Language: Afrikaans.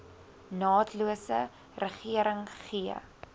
naatlose regering gee